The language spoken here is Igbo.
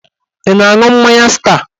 Ị na-aṅụ mmanya star?